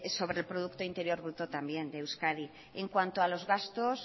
sobre el producto interior bruto también de euskadi en cuanto a los gastos